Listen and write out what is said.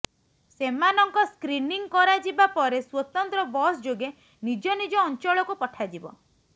ସେମାନଙ୍କ ସ୍କ୍ରିନିଂ କରାଯିବା ପରେ ସ୍ୱତନ୍ତ୍ର ବସ୍ ଯୋଗେ ନିଜ ନିଜ ଅଞ୍ଚଳକୁ ପଠାଯିବ